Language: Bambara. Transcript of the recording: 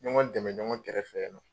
Ɲɔgɔn dɛmɛ ɲɔgɔn kɛrɛfɛ